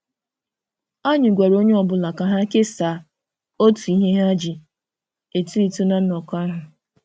Anyị gwara onye ọ bụla ka ha kesaa otu ihe ha ji eto eto na nnọkọ ahụ.